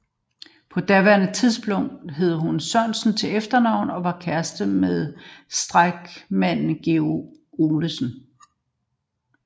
På daværende tidspunkt hed hun Sørensen til efternavn og var kæreste med stærkmanden George Olesen